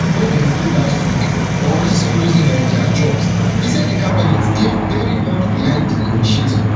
wey dem do last week or risk losing um dia jobs e say di cabinet dey very much behind di initiative